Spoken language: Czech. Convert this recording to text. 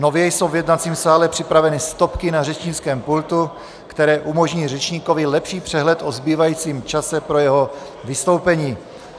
Nově jsou v jednacím sále připraveny stopky na řečnickém pultu, které umožní řečníkovi lepší přehled o zbývajícím čase pro jeho vystoupení.